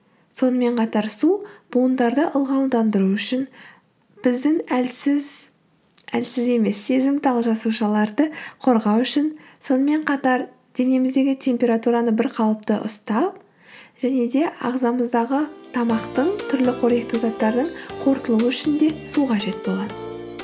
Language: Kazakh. сонымен қатар су буындарды ылғалдандыру үшін біздің әлсіз әлсіз емес сезімтал жасушаларды қорғау үшін сонымен қатар денеміздегі температураны бірқалыпты ұстап және де ағзамыздағы тамақтың түрлі қоректі заттардың қорытылуы үшін де су қажет болады